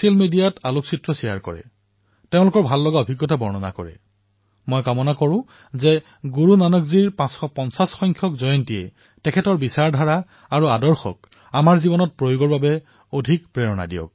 মোৰ কামনা এয়াই যে গুৰুনানক দেৱজীৰ ৫৫০তম প্ৰকাশপৰ্বই আমাক তেওঁৰ চিন্তাধাৰা আৰু আদৰ্শৰে উৎসাহিত কৰক